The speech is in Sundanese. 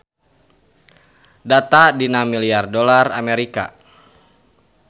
Data dina milyar dolar Amerika.